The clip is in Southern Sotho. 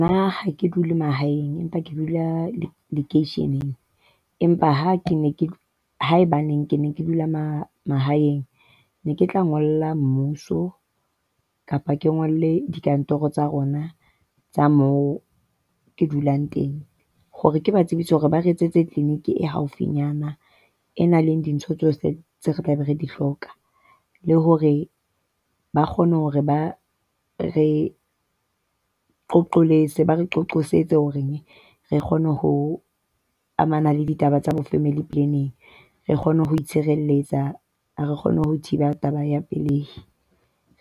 Ha ha ke dule mahaeng empa ke dula lekeisheneng. Empa ha ke ne ke haebaneng ke ne ke dula mahaeng ne ke tla ngolla mmuso kapa ke ngole dikantorong tsa rona tsa mo ke dulang teng hore ke ba tsebise hore ba re etsetse clinic e haufinyana. E nang le dintho tseo re tlabe re di hloka. Le hore ba kgone hore ba re qoletse , ba re qosetsa hore re kgone ho amana le ditaba tsa bo-family planning. Re kgone ho itshireletsa, re kgone ho thiba taba ya pelei,